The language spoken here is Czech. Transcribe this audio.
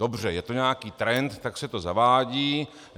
Dobře, je to nějaký trend, tak se to zavádí.